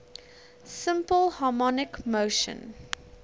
simple harmonic motion